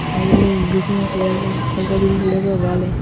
आगे में green colour का हल्का ग्रीन कलर का वाल है।